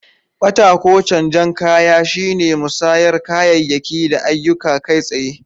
Bata ko canjen kaya shine musayar kayayyaki da ayyuka kai tsaye.